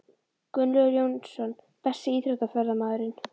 Gunnlaugur Jónsson Besti íþróttafréttamaðurinn?